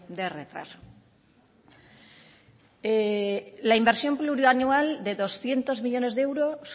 de retraso la inversión plurianual de doscientos millónes de euros